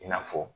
I n'a fɔ